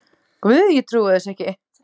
Guð, ég trúi þessu ekki